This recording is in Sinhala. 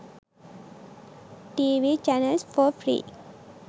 tv channels for free